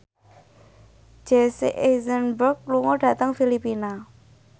Jesse Eisenberg lunga dhateng Filipina